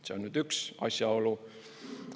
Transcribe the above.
See on üks asjaolu.